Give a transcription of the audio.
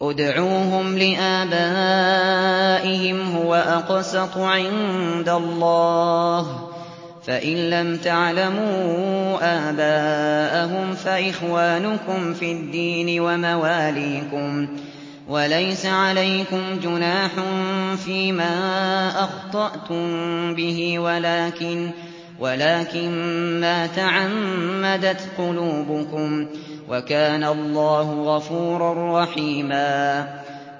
ادْعُوهُمْ لِآبَائِهِمْ هُوَ أَقْسَطُ عِندَ اللَّهِ ۚ فَإِن لَّمْ تَعْلَمُوا آبَاءَهُمْ فَإِخْوَانُكُمْ فِي الدِّينِ وَمَوَالِيكُمْ ۚ وَلَيْسَ عَلَيْكُمْ جُنَاحٌ فِيمَا أَخْطَأْتُم بِهِ وَلَٰكِن مَّا تَعَمَّدَتْ قُلُوبُكُمْ ۚ وَكَانَ اللَّهُ غَفُورًا رَّحِيمًا